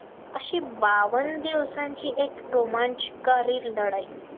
अशी बावन दिवसांची एक रोमांचकारी लढाई